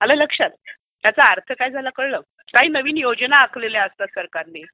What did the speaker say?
आलं लक्षात? याचा अर्थ काय झाला कळलं? काही नवीन योजना आखलेल्या असतात सरकारने,